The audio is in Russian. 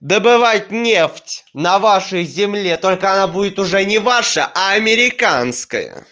добывать нефть на вашей земле только она будет уже не ваша а американская